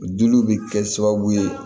Diliw bɛ kɛ sababu ye